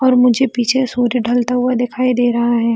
और मुझे पीछे सूर्य ढलता हुआ दिखाई दे रहा है।